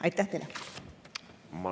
Aitäh teile!